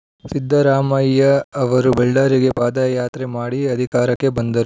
ಸಿದ್ದರಾಮಯ್ಯ ಅವರು ಬಳ್ಳಾರಿಗೆ ಪಾದಯಾತ್ರೆ ಮಾಡಿ ಅಧಿಕಾರಕ್ಕೆ ಬಂದರು